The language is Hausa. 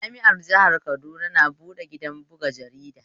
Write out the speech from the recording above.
Jami'ar jihar Kaduna na buɗe gidan buga jarida